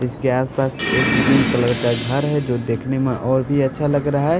इसके आसपास एक ग्रीन कलर का घर है जो देखने में और भी अच्छा लग रहा है।